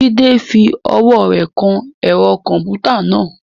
Jide fi ọwọ́ rẹ̀ kan ẹ̀rọ kọ̀m̀pútà náà.